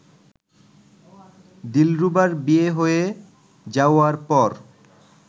দিলরুবার বিয়ে হয়ে যাওয়ার পর